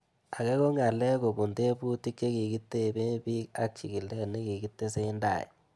Ake ko ng'alek kopun tebutik che kikitepee pik ak chig'ilet ne kikitesetai